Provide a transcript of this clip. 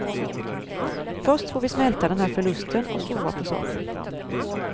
Först får vi smälta den här förlusten och sova på saken.